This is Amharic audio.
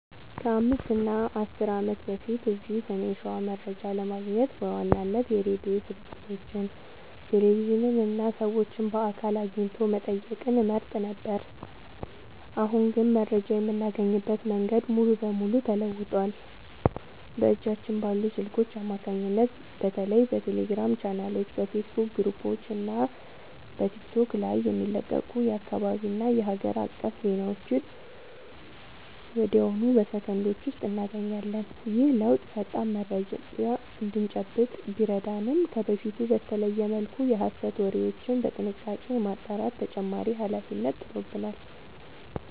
ከ5 እና 10 ዓመት በፊት እዚህ ሰሜን ሸዋ መረጃ ለማግኘት በዋናነት የሬዲዮ ስርጭቶችን፣ ቴሌቪዥንን እና ሰዎችን በአካል አግኝቶ መጠየቅን እንመርጥ ነበር። አሁን ግን መረጃ የምናገኝበት መንገድ ሙሉ በሙሉ ተለውጧል። በእጃችን ባሉ ስልኮች አማካኝነት በተለይ በቴሌግራም ቻናሎች፣ በፌስቡክ ግሩፖች እና በቲክቶክ ላይ የሚለቀቁ የአካባቢና የሀገር አቀፍ ዜናዎችን ወዲያውኑ በሰከንዶች ውስጥ እናገኛለን። ይህ ለውጥ ፈጣን መረጃ እንድንጨብጥ ቢረዳንም፣ ከበፊቱ በተለየ መልኩ የሐሰት ወሬዎችን በጥንቃቄ የማጣራት ተጨማሪ ኃላፊነት ጥሎብናል።